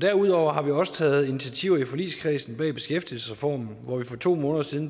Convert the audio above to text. derudover har vi også taget nogle initiativer i forligskredsen bag ved beskæftigelsesreformen hvor vi for to måneder siden